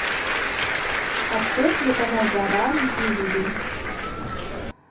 открой телеканал жара на телевизоре